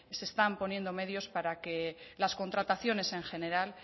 se están poniendo medios para que las contrataciones en general